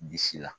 Bisi la